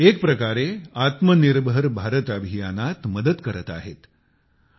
म्हणजेच एक प्रकारे आत्मनिर्भर भारत अभियानात मदत करत आहेत